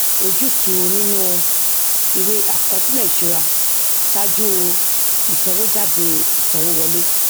ojútùú nínú ìwé àkọsílẹ ìṣúra saju ìsanwójáde ìsanwówọlé